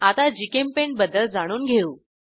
आता जीचेम्पेंट बद्दल जाणून घेऊ